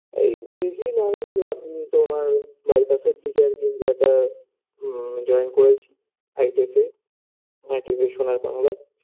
এই বেশি নয় আপনি তোমার বাইপাসের দিকে আরকি জায়েগাটা joint করেছি I tech -এ ITC সোনার বাংলায়